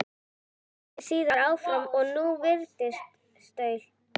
Héldi síðan áfram og nú viðstöðulaust